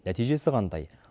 нәтижесі қандай